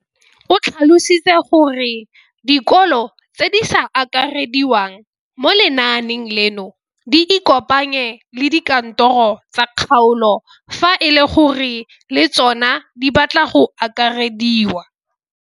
O tlhalositse gore dikolo tse di sa akarediwang mo lenaaneng leno di ikopanye le dikantoro tsa kgaolo fa e le gore le tsona di batla go akarediwa.